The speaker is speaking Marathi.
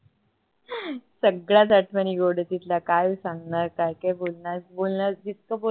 सगळ्याच आठवणी गोड आहे तिथल्या काय सांगणार काय काय बोलणार, बोलणार जितका बोलणार